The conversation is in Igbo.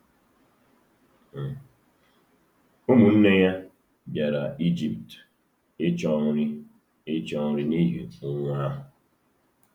Ụmụnne ya bịara Ijipt ịchọ nri ịchọ nri n’ihi ụnwụ ahụ.